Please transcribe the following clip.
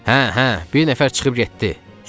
Hə, hə, bir nəfər çıxıb getdi.